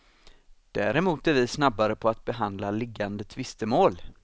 Däremot är vi snabbare på att behandla liggande tvistemål.